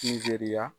Ni jeriya